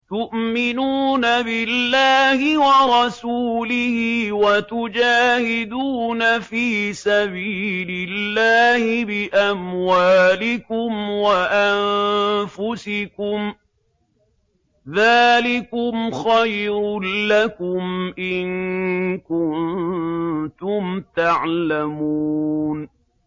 تُؤْمِنُونَ بِاللَّهِ وَرَسُولِهِ وَتُجَاهِدُونَ فِي سَبِيلِ اللَّهِ بِأَمْوَالِكُمْ وَأَنفُسِكُمْ ۚ ذَٰلِكُمْ خَيْرٌ لَّكُمْ إِن كُنتُمْ تَعْلَمُونَ